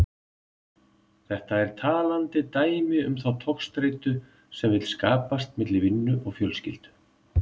Þetta er talandi dæmi um þá togstreitu sem vill skapast milli vinnu og fjölskyldu.